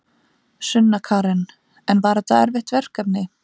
Sunna Karen: En var þetta erfitt verkefni?